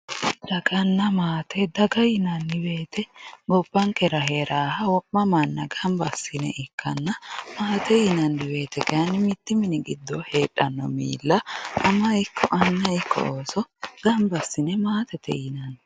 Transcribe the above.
daganna maate daga yinanni woyiite gobbankera heeraaha wo'ma manna gamba assine ikkanna maate yinayiiwote kayiini mittu mini giddo heexanno miilla ama ikko anna ikko ooso gambba assine maatete yinanni.